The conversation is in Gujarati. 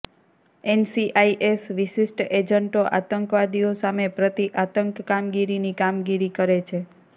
એનસીઆઈએસ વિશિષ્ટ એજન્ટો આતંકવાદીઓ સામે પ્રતિ આંતક કામગીરીની કામગીરી કરે છે